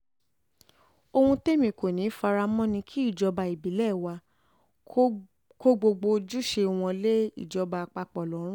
ohun témi kò ní í fara mọ́ ni kí ìjọba ìbílẹ̀ wàá kó gbogbo ojúṣe wọn lé ìjọba àpapọ̀ àpapọ̀ lọ́run